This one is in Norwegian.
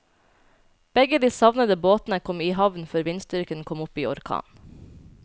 Begge de savnede båtene kom i havn før vindstyrken kom opp i orkan.